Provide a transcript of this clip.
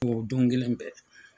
o don kelen bɛɛ.